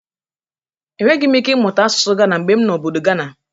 Enweghi m ike mụta asụsụ gana mgbe m nọ obodo gana.